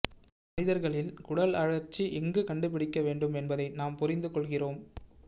மனிதர்களில் குடல் அழற்சி எங்கு கண்டுபிடிக்க வேண்டும் என்பதை நாம் புரிந்து கொள்கிறோம்